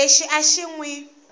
lexi a xi n wi